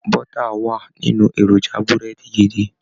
Bọ́tà wà nínú èròjà Búrẹ́dì gidi